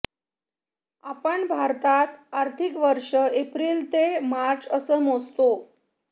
आपण भारतात आर्थिक वर्षं एप्रिल ते मार्च असं मोजतो